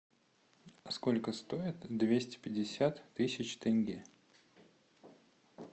сколько стоит двести пятьдесят тысяч тенге